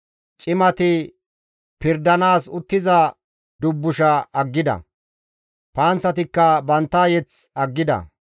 Cimati pirdanaas uttiza dubbusha aggida; panththatikka bantta mazamure aggida.